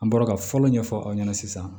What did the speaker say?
An bɔra ka fɔlɔ ɲɛfɔ aw ɲɛna sisan